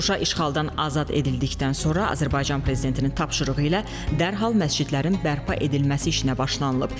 Şuşa işğaldan azad edildikdən sonra Azərbaycan prezidentinin tapşırığı ilə dərhal məscidlərin bərpa edilməsi işinə başlanılıb.